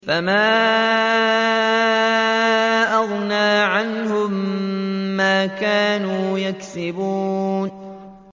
فَمَا أَغْنَىٰ عَنْهُم مَّا كَانُوا يَكْسِبُونَ